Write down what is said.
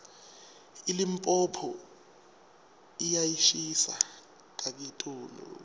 ilipompo yiyashisa kakitulu